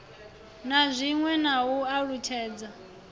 na zwiwe na u alutshedza